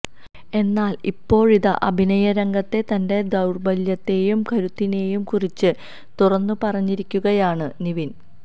എന്നാൽ ഇപ്പോഴിതാ അഭിനയരംഗത്തെ തന്റെ ദൌർബല്യത്തെയും കരുത്തിനെയും കുറിച്ച് തുറന്നു പറഞ്ഞിരിക്കുകയാണ് നിവിൻ